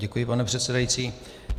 Děkuji, pane předsedající.